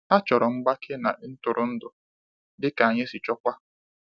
Ha chọrọ mgbake na ntụrụndụ, dịka anyị si chọọkwa.